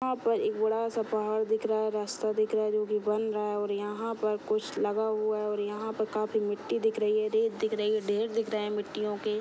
यहाँ पे एक बड़ा सा पहाड़ दिख रहा है रास्ता दिख रहा है जो की बन रहा है और यहाँ पर कुछ लगा हुआ है और यहाँ पर काफी मिटटी दिख रही है रेत दिख रही है ढेर दिख रहे है मिट्टियों के --